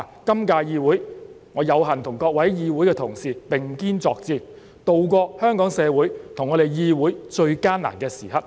今屆議會，我有幸跟議會中各位同事並肩作戰，渡過香港社會和議會最艱難的時刻。